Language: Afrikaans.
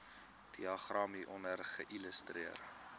diagram hieronder illustreer